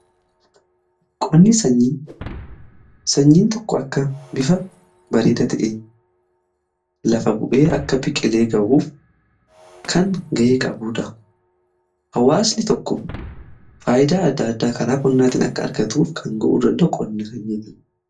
Qonni sanyiin tokko akka bifa bareeda ta'een lafa bu'ee akka biqqilee ga'uuf kan ga'ee qabuudha. Hawaasni tokko faayidaa adda addaa karaa qonnaatiin akka argatuuf kan ga'uu qonni sanyiiti.